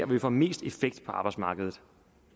vi får mest effekt på arbejdsmarkedet